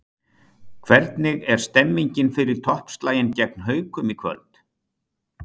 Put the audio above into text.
Hvernig er stemningin fyrir toppslaginn gegn Haukum í kvöld?